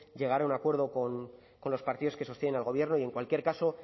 llegar a un acuerdo con los partidos que sostienen al gobierno y en cualquier caso